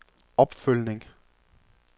opfølgning